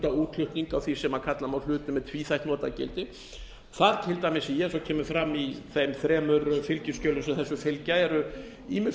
útflutning á því sem kalla má hluti með tvíþætt notagildi það til dæmis eins og kemur fram í þeim þremur fylgiskjölum sem þessu fylgja eru ýmiss